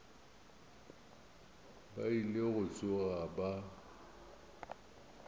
ba ile go tsoga ba